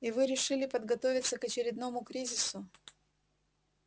и вы решили подготовиться к очередному кризису